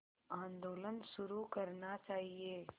आंदोलन शुरू करना चाहिए